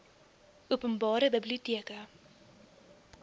open bare biblioteke